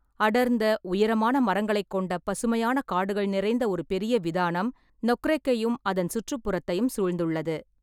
அடர்ந்த, உயரமான மரங்களைக் கொண்ட பசுமையான காடுகள் நிறைந்த ஒரு பெரிய விதானம் நொக்ரெக்கையும் அதன் சுற்றுப்புறத்தையும் சூழ்ந்துள்ளது.